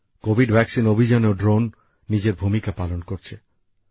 Covid টিকা অভিযানেও drone নিজের ভূমিকা পালন করছে